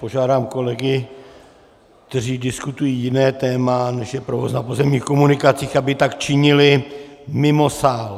Požádám kolegy, kteří diskutují jiné téma, než je provoz na pozemních komunikacích, aby tak činili mimo sál!